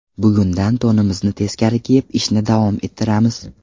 Bugundan to‘nimizni teskari kiyib ishni davom ettiramiz.